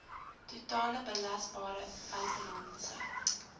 totale belasbare buitelandse